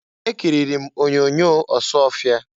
Ekiriri m onyoonyo Ọsụọfịa.